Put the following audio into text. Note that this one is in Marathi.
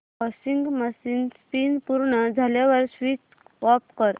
वॉशिंग मशीन स्पिन पूर्ण झाल्यावर स्विच ऑफ कर